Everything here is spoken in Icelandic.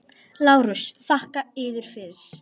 LÁRUS: Þakka yður fyrir.